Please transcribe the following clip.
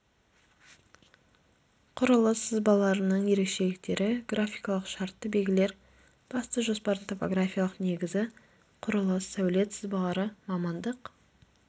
құрылыс сызбаларының ерекшеліктері графикалық шартты белгілер басты жоспардың топографиялық негізі құрылыс сәулет сызбалары мамандық